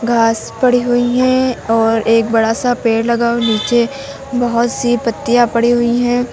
घास पड़ी हुई हैं और एक बड़ा सा पेड़ लगा हुआ है नीचे बहुत सी पत्तियां पड़ी हुई हैं।